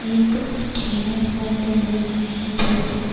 ایک دکھائی دے رہے ہیں چھت دکھائی--